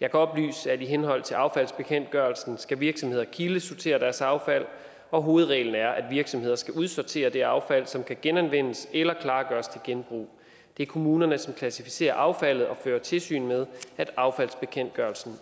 jeg kan oplyse at i henhold til affaldsbekendtgørelsen skal virksomheder kildesortere deres affald og hovedreglen er at virksomheder skal udsortere det affald som kan genanvendes eller klargøres til genbrug det er kommunerne som klassificerer affaldet og fører tilsyn med at affaldsbekendtgørelsen